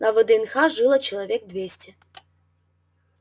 на вднх жило человек двести